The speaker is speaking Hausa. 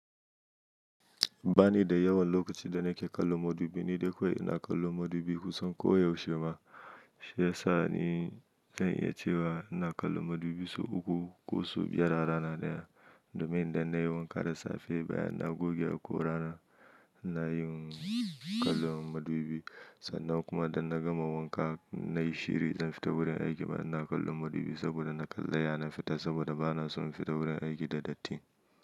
Ba ni da yawan lokaci da nake kallo madubi, ni dai kawai ina kallo madubi kusan ko yaushe ma. Shi ya sa ni zan iya cewa ina kallo madubi sau uku ko su biyar a rana ɗaya domin da na yi wanka da safe bayan na goge haƙora, ina yin kallon madubi. Sannan kuma da na gama wanka na yi shiri zan fita wurin aiki, amma ina kallon madubi saboda na kalla ya na fita saboda ba na son fita wurin aiki da datti.